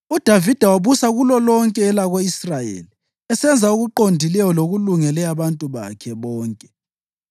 UDavida wabusa kulolonke elako-Israyeli, esenza okuqondileyo lokulungele abantu bakhe bonke.